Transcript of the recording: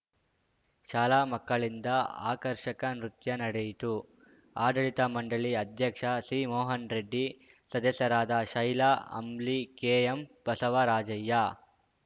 ಶಾಲಾ ಮಕ್ಕಳಿಂದ ಆಕರ್ಷಕ ನೃತ್ಯ ನಡೆಯಿತು ಆಡಳಿತ ಮಂಡಳಿ ಅಧ್ಯಕ್ಷ ಸಿಮೋಹನ್‌ ರೆಡ್ಡಿ ಸದಸ್ಯರಾದ ಶೈಲಾ ಅಂಬ್ಲಿ ಕೆಎಂ ಬಸವರಾಜಯ್ಯ